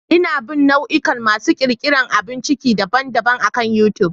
Ina bin nau'ikan masu ƙirƙirar abun ciki daban-daban akan YouTube.